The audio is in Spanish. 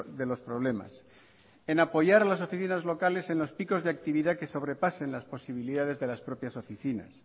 de los problemas en apoyar a las oficinas locales en lo picos de actividad que sobrepasen las posibilidades de las propias oficinas